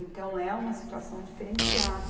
Então, é uma situação diferenciada.